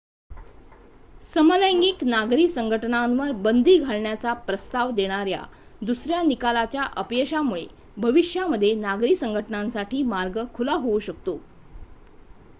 समलैंगिक नागरी संघटनांवर बंदी घालण्याचा प्रस्ताव देणाऱ्या दुसऱ्या निकालाच्या अपयशामुळे भविष्यामध्ये नागरी संघटनांसाठी मार्ग खुला होऊ शकतो